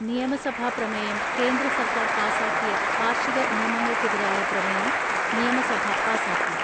നിയമസഭ പ്രമേയം കേന്ദ്ര സർക്കാർ പാസാക്കിയ കാർഷിക നിയമങ്ങൾക്കെതിരായ പ്രമേയം നിയമസഭ പാസാക്കി.